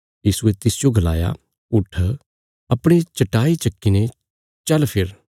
यीशुये तिसजो गलाया उट्ठ अपणी चट्टाई चक्कीने चल फिर